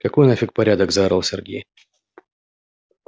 какой нафиг порядок заорал сергей